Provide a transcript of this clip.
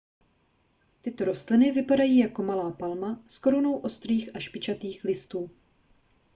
tyto rostliny vypadají jako malá palma s korunou ostrých a špičatých listů